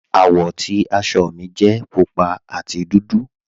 Awọ́ ti àṣọ́ mi jẹ̀ púpà àti dúdú.